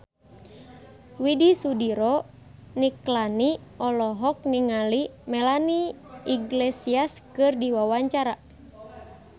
Widy Soediro Nichlany olohok ningali Melanie Iglesias keur diwawancara